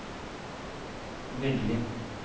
Veggli